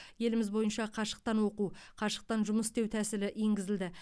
еліміз бойынша қашықтан оқу қашықтан жұмыс істеу тәсілі енгізілді